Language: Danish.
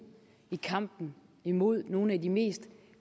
i kampen imod nogle af de mest